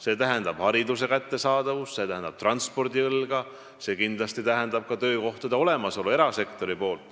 See tähendab hariduse kättesaadavust, see tähendab transpordiõlga, see tähendab kindlasti ka erasektori töökohtade olemasolu.